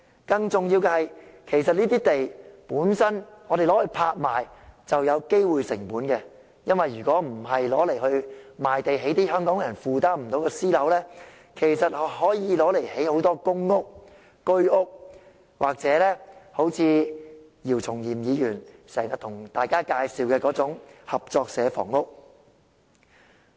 更重要的是，如果我們把這些土地拍賣，便會產生機會成本，因為那些土地如果不賣給發展商來興建一些香港人負擔不來的私樓，其實可以用作興建大量公屋、居屋，或姚松炎議員經常向大家介紹的合作社房屋。